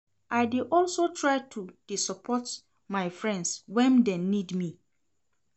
I dey also try to dey support my friends wen dem need me.